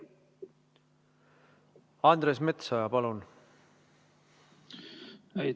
Andres Metsoja, palun!